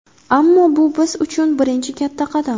Ammo bu biz uchun birinchi katta qadam.